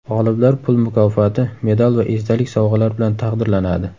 G‘oliblar pul mukofoti, medal va esdalik sovg‘alar bilan taqdirlanadi.